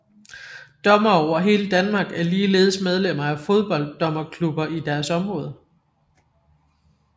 Dommere over hele Danmark er ligeledes medlemmer af fodbolddommerklubber i deres område